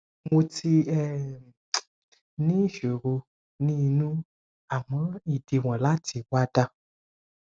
mo ti um ní ìṣòro ní inú àmọ ìdíwọn láti wà dà